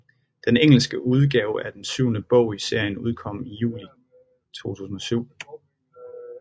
Den engelske udgave af den syvende bog i serien udkom i juli 2007